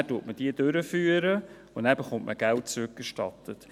Dann führt man sie durch und erhält Geld zurückerstattet.